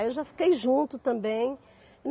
Aí eu já fiquei junto também.